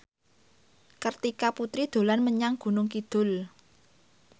Kartika Putri dolan menyang Gunung Kidul